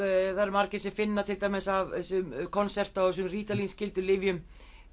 það eru margir sem finna til dæmis af þessum concerta og þessum rítalín skyldum lyfjum